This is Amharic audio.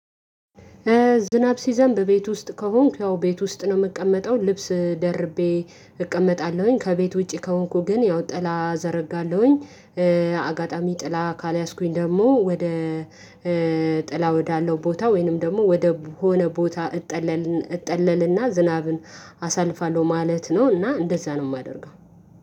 ዝናብ ሲዘንብ ቤት ውስጥ ከሆንኩ ያው ቤት ውስጥ ነው የምቀመጠው ልብስ ደርቤ እቀመጣለሁኝ ከቤት ውጪ ከሆንኩ ግን ያው ጥላ ዘረጋለሁኝ። አጋጣሚ ጥላ ካልያዝኩኝ ደግሞ ወደ ጥላ ወዳለው ቦታ ወይንም ደግሞ ወደ ሆነ ቦታ እጠለልን እጠለልና ዝናብን አሳልፋለሁ ማለት ነው። እና እንደዛ ነው የማደርገው።